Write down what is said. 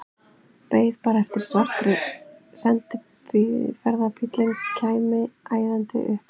Beið bara eftir að svarti sendiferðabíllinn kæmi æðandi upp að hliðinni.